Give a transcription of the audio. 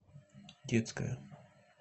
детская